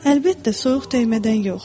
Əlbəttə, soyuq dəymədən yox.